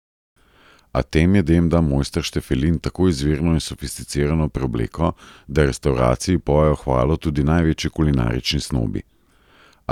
A tem jedem da mojster Štefelin tako izvirno in sofisticirano preobleko, da restavraciji pojejo hvalo tudi največji kulinarični snobi.